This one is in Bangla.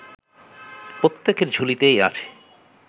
প্রত্যেকের ঝুলিতেই আছে